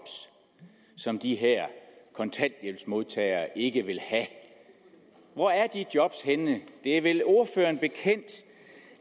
som de her kontanthjælpsmodtagere ikke vil have hvor er de job henne det er vel ordføreren bekendt